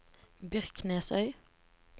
Byrknesøy